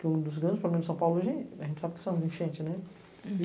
que um dos grandes problemas de São Paulo, a gente sabe que são as enchentes, né?